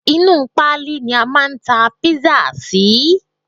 Inú u pálí ni a máa ń ta kpisa sí